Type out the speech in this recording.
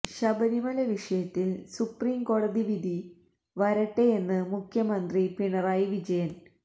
ശബരിമല വിഷയത്തിൽ സുപ്രിം കോടതി വിധി വരട്ടെയെന്ന് മുഖ്യമന്ത്രി പിണറായി വിജയൻ